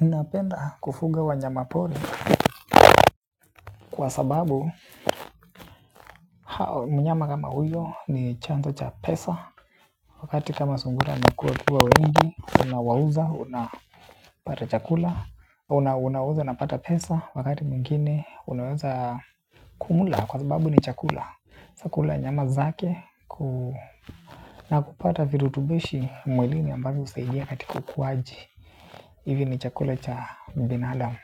napenda kufuga wanyama pori. Kwa sababu mnyama kama huyo ni chanzo cha pesa. Wakati kama sungura nikuwa kuwa wengi. Una wauza. Una pata chakula. Unauza unapata pesa wakati mwingine unaweza kumla kwa sababu ni chakula. Chakula nyama zake. Na kupata virutubishi mwilini ambazo usaidia katika kukwaji. Hivi ni chakula cha binadamu.